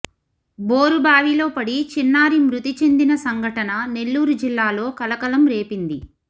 bore బావిలో పడి చిన్నారి మృతి చెందిన సంఘటన నెల్లూరు జిల్లాలో కలకలం రేపింది